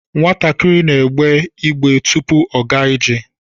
Nwatakịrị na-egbe igbe tupu ọ gaa ije